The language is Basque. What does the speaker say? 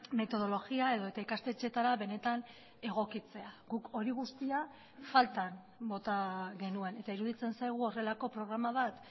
metodologia edota ikastetxeetara benetan egokitzea guk hori guztia faltan bota genuen eta iruditzen zaigu horrelako programa bat